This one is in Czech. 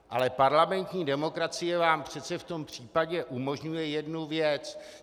Ale parlamentní demokracie vám přece v tom případě umožňuje jednu věc.